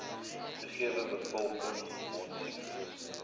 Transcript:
gegewe bevolking mondsiektes